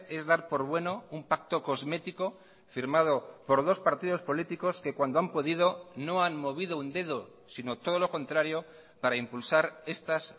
es dar por bueno un pacto cosmético firmado por dos partidos políticos que cuando han podido no han movido un dedo sino todo lo contrario para impulsar estas